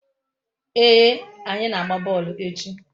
Ee, anyi na-agba boolu echi